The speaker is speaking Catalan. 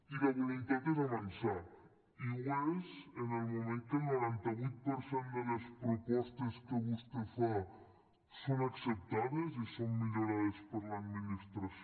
i la voluntat és avançar i ho és en el moment que el noranta vuit per cent de les propostes que vostè fa són acceptades i són millorades per l’administració